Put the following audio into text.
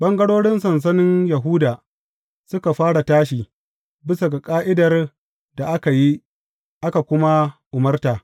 Ɓangarorin sansanin Yahuda suka fara tashi, bisa ga ƙa’idar da aka yi, aka kuma umarta.